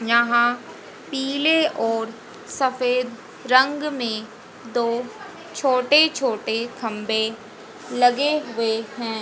यहां पीले और सफेद रंग में दो छोटे छोटे खंबे लगे हुए हैं।